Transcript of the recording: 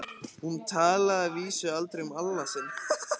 Hún talaði að vísu aldrei um Alla sinn.